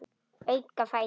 Auka fætur.